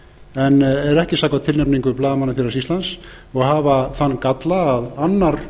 en eru ekki samkvæmt tilnefningu blaðamannafélags íslands og hafa þann galla að annar